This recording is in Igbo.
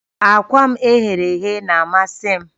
Akwa m e ghere eghe na-amasị m